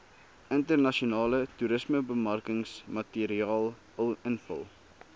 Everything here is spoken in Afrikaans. internasionale toerismebemarkingsmateriaal invul